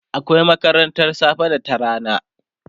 akwai makarantan safe da ta rana